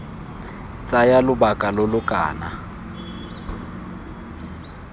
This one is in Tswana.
tsaya lobaka lo lo kana